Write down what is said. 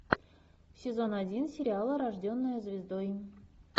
сезон один сериала рожденная звездой